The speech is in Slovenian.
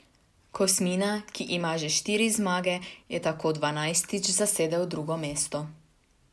Kosmina, ki ima že štiri zmage, je tako dvanajstič zasedel drugo mesto.